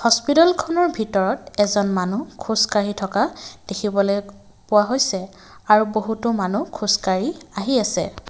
হস্পিটলখনৰ ভিতৰত এজন মানুহ খোজকাঢ়ি থকা দেখিবলৈ পোৱা হৈছে আৰু বহুতো মানুহ খোজকাঢ়ি আহি আছে।